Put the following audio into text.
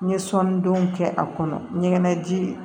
N ye sɔnni don kɛ a kɔnɔ ɲɛgɛn ji ye